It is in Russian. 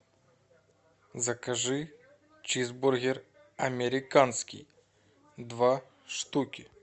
закажи чизбургер американский два штуки